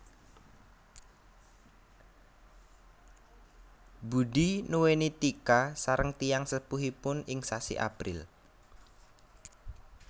Budi nuweni Tika sareng tiyang sepuhipun ing sasi April